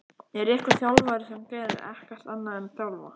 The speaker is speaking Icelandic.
Er einhver þjálfari sem gerir ekkert annað en að þjálfa?